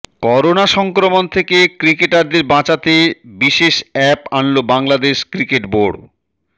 corona সংক্রমণ থেকে ক্রিকেটারদের বাঁচাতে বিশেষ অ্যাপ আনল বাংলাদেশ ক্রিকেট বোর্ড